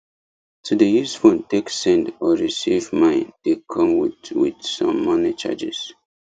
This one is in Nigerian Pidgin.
to dey use phone take send or receive mine dey come with with some money charges